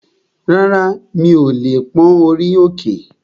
Rárá, mi ò lè pón orí òkè